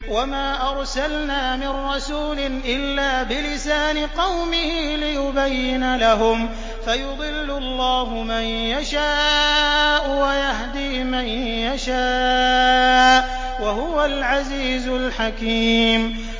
وَمَا أَرْسَلْنَا مِن رَّسُولٍ إِلَّا بِلِسَانِ قَوْمِهِ لِيُبَيِّنَ لَهُمْ ۖ فَيُضِلُّ اللَّهُ مَن يَشَاءُ وَيَهْدِي مَن يَشَاءُ ۚ وَهُوَ الْعَزِيزُ الْحَكِيمُ